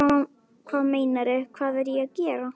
Hvað meinarðu, hvað er ég að gera?